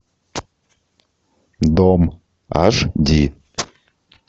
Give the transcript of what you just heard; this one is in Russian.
дом аш ди